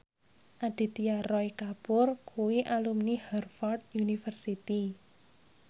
Aditya Roy Kapoor kuwi alumni Harvard university